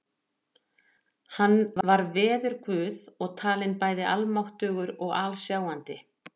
Hann var veðurguð og talinn bæði almáttugur og alsjáandi.